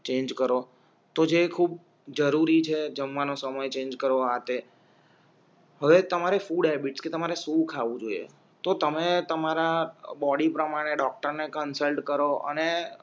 change કરો તો જે ખૂબ જરૂરી છે જમવાનો સમય ચેન્જ કરવા હતે હવે તમારી ફૂડ હૅબિટ કે તમારે સુ ખાવું જોઈએ તો તમે તમારા બોડી પ્રમાણે ડોક્ટરને કન્સલ્ટ કરો અણે